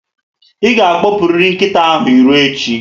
I ga akpopuriri nkịta ahụ irò echi niile